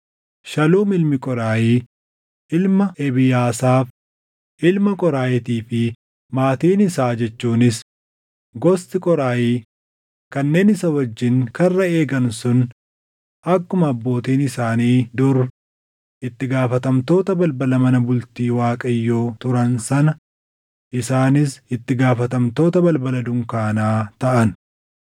Shaluum ilmi Qooraahi ilma Ebiyaasaaf, ilma Qoraahiitii fi maatiin isaa jechuunis gosti Qoraahii kanneen isa wajjin karra eegan sun akkuma abbootiin isaanii dur itti gaafatamtoota balbala mana bultii Waaqayyoo turan sana isaanis itti gaafatamtoota balbala dunkaanaa taʼan.